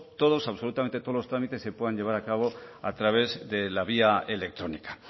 todos absolutamente todos los trámites se puedan llevar a cabo a través de la vía electrónica